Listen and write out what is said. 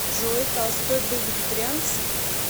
джой толстой был вегетарианцем